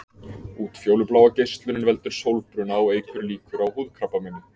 Útfjólubláa geislunin veldur sólbruna og eykur líkur á húðkrabbameini.